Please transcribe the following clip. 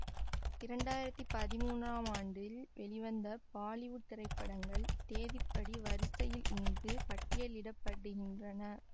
இரண்டு ஆயிரத்தி பதிமூனாம் ஆண்டில் வெளிவந்த பாலிவுட் திரைப்படங்கள் தேதிப்படி வரிசையில் இங்கு பட்டியலிட படுகின்றன